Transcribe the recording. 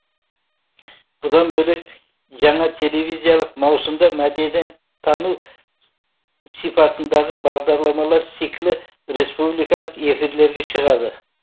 бұдан бөлек жаңа телевизиялық маусымда мәдениет тану сипатындағы бағдарламалар циклі республикалық эфирлерге шығады